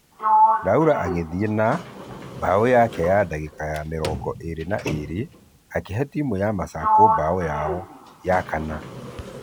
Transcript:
Laura agĩthie na .....bao yake dagĩka ya mĩrongo ĩgĩrĩ na ĩrĩ akĩhe timũ ya masaku bao yao ya kana.